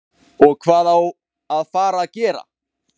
OG HVAÐ Á AÐ FARA AÐ GERA?